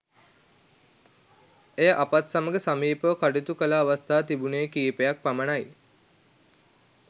ඇය අපත් සමග සමීපව කටයුතු කළ අවස්ථා තිබුණේ කීපයක් පමණයි.